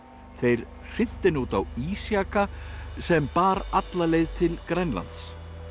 þeir hrintu henni út á ísjaka sem bar alla leið til Grænlands